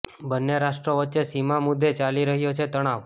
બંન્ને રાષ્ટ્રો વચ્ચે સીમા મુદ્દે ચાલી રહ્યો છે તણાવ